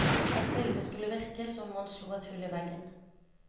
Et bilde skulle virke som om man slo et hull i veggen.